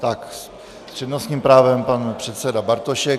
Tak, s přednostním právem pan předseda Bartošek.